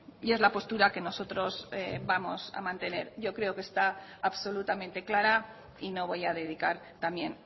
y es la postura que nosotros vamos a mantener yo creo que está absolutamente clara y no voy a dedicar también